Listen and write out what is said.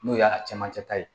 N'o y'a camancɛ ta ye